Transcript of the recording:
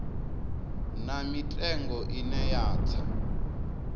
na mitengo ine ya tsa